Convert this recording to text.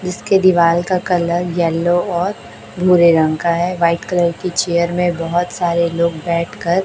इसके दीवाल का कलर येलो और भूरे रंग का है वाइट कलर की चेयर में बहोत सारे लोग बैठकर।